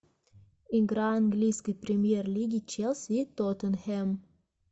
игра английской премьер лиги челси и тоттенхэм